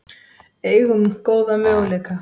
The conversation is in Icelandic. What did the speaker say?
Eigum góða möguleika